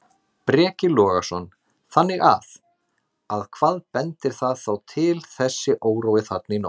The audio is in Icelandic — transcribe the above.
Breki Logason: Þannig að, að hvað bendir það þá til þessi órói þarna í nótt?